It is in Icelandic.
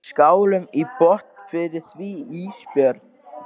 Skálum í botn fyrir því Ísbjörg.